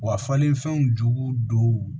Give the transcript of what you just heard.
Wa falen fɛnw jugu dɔw